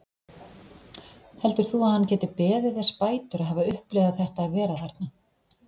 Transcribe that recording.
Heldur þú að hann geti beðið þess bætur að hafa upplifað þetta að vera þarna?